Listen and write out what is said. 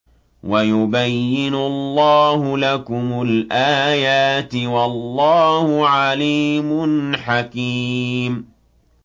وَيُبَيِّنُ اللَّهُ لَكُمُ الْآيَاتِ ۚ وَاللَّهُ عَلِيمٌ حَكِيمٌ